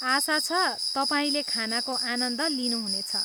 आशा छ, तपाईँले खानाको आनन्द लिनुहुनेछ।